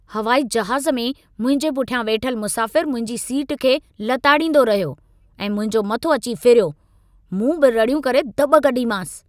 हवाई जहाज़ में, मुंहिंजे पुठियां वेठलु मुसाफ़िर मुंहिंजी सीट खे लताड़ींदो रहियो ऐं मुंहिंजो मथो अची फिरियो। मूं बि रड़ियूं करे दॿ कढीमांसि।